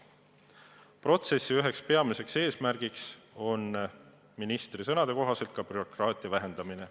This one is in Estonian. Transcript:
Protsessi peamine eesmärk on ministri sõnade kohaselt ka bürokraatia vähendamine.